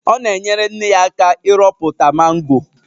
Ọ na-enyere nne ya aka ịrọpụta mango.